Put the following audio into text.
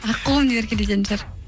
аққуым деп еркелететін шығар